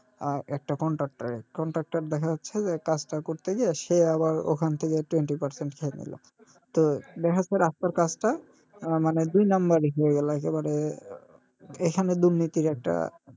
আর একটা contractor এর contractor দেখা যাচ্ছে যে এই কাজটা করতে গিয়ে সে আবার ওখান থেকে twenty percent নিল তো দেখা যাচ্ছে রাস্তার কাজটা আহ মানে দুই নাম্বারি হয়ে গেলো একেবারে এখানে দুর্নীতির একটা,